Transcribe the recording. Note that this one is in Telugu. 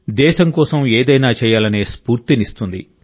దేశం కోసం ఏదైనా చేయాలనే స్ఫూర్తినిస్తుంది